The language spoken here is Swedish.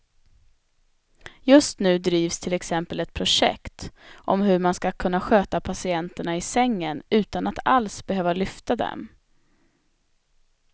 Just nu drivs till exempel ett projekt om hur man ska kunna sköta patienterna i sängen utan att alls behöva lyfta dem.